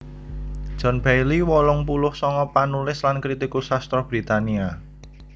John Bayley wolung puluh sanga panulis lan kritikus sastra Britania